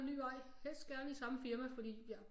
En ny vej helst gerne i samme firma fordi jeg